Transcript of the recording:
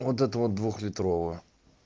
вот это вот двухлитровую